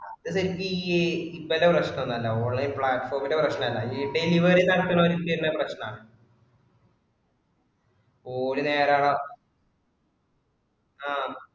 അത് വലിയ ഈ ഇവരുടെ പ്രശ്‍നം തന്നാ online platform ഇന്റെ പ്രശ്‍നം അല്ല. ഈ delivery നടത്തണോർക്ക് തന്നെ പ്രശ്നവാണ്. ഓള് ആഹ്